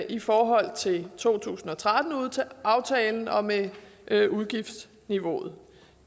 i forhold til to tusind og tretten aftalen og med med udgiftsniveauet